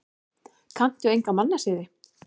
Kanntu enga mannasiði?